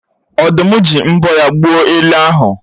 Ọ̀dụ́m ji mbọ́ ya gbuo ele ahụ